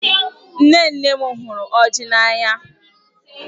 Nne nne m hụrụ ọjị n'anya